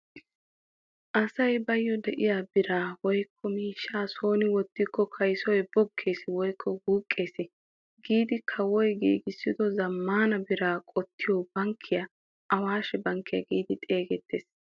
Asay bayo de'iyaa biraa woykko miishshaa soni wottiko kaysoy boggees woykko wuuqqees. giidi kawoy giigissido zammaana biraa qottiyo bankkiyaa awaashshe bankkiyaa giidi xeegettees.